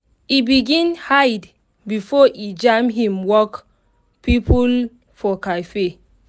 e begin hide before e jam him work people for cafe.